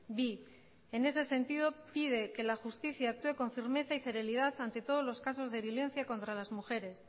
bi en ese sentido pide que la justicia actúe con firmeza y celeridad ante todos los casos de violencia contra las mujeres